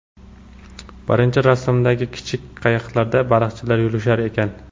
Birinchi rasmdagi kichik qayiqlarda baliqchilar yurishar ekan.